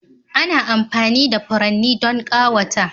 Ana amfani da furanni don ƙawata.